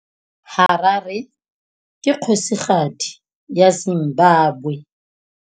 Harare ke kgosigadi ya Zimbabwe.